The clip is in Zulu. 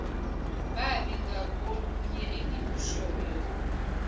babi ngakolunye engikushoyo